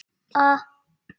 Kolla og Heiða hlógu líka.